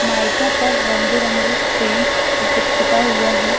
मैको में रंग बिरंगी से पोता हुआ है।